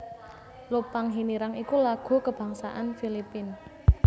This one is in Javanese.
Lupang Hinirang iku lagu kabangsané Filipina